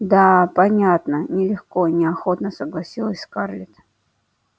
да понятно нелегко неохотно согласилась скарлетт